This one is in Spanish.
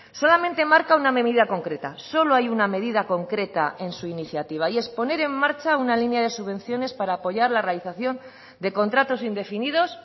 solamente marca una medida concreta solo hay una medida concreta en su iniciativa y es poner en marcha una línea de subvenciones para apoyar la realización de contratos indefinidos